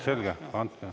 Selge.